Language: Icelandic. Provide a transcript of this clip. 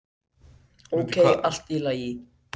"""Ókei, allt í lagi."""